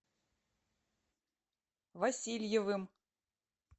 васильевым